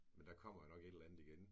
Men der kommer jo nok et eller andet igen